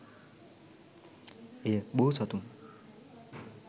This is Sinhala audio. එය බෝ සතුන්